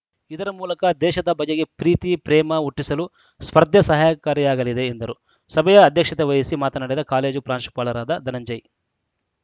ಇದರ ಮೂಲಕ ದೇಶದ ಬಗೆಗೆ ಪ್ರೀತಿ ಪ್ರೇಮ ಹುಟ್ಟಿಸಲು ಸ್ಪರ್ಧೆ ಸಹಕಾರಿಯಾಗಲಿದೆ ಎಂದರು ಸಭೆಯ ಅಧ್ಯಕ್ಷತೆವಹಿಸಿ ಮಾತನಾಡಿದ ಕಾಲೇಜು ಪ್ರಾಂಶುಪಾಲರಾದ ಧನಂಜಯ್‌